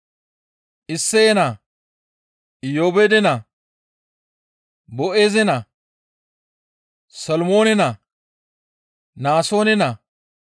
Isseye naa, Iyoobeede naa, Boo7eeze naa, Solomoone naa, Naasoone naa,